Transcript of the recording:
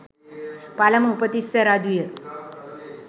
පළමු උපතිස්ස රජු ය.